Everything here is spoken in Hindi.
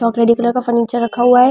चॉकलेटी कलर का फर्नीचर रखा हुआ है।